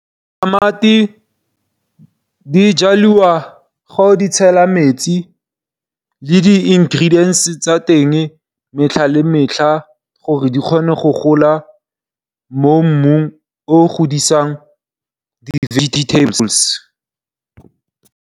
Tamati di jalwa ga o di tshela metsi le di ingredients tsa teng metlha le metlha gore di kgone go gola mo mmung o godisang di vegetables.